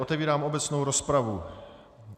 Otevírám obecnou rozpravu.